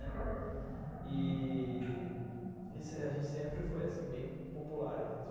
E... A gente sempre foi assim, bem popular.